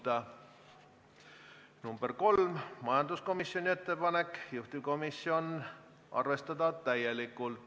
Ka kolmas on majanduskomisjoni ettepanek, juhtivkomisjon soovitab arvestada seda täielikult.